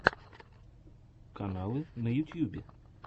каналы на ютьюбе